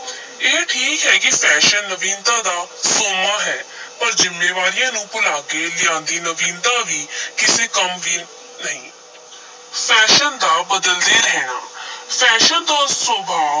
ਇਹ ਠੀਕ ਹੈ ਕਿ fashion ਨਵੀਨਤਾ ਦਾ ਸੋਮਾ ਹੈ ਪਰ ਜ਼ਿੰਮੇਵਾਰੀਆਂ ਨੂੰ ਭੁਲਾ ਕੇ ਲਿਆਂਦੀ ਨਵੀਨਤਾ ਵੀ ਕਿਸੇ ਕੰਮ ਦੀ ਨਹੀਂ fashion ਦਾ ਬਦਲਦੇ ਰਹਿਣਾ fashion ਦਾ ਸੁਭਾਅ